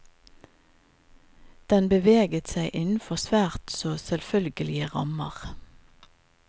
Den beveget seg innenfor svært så selvfølgelige rammer.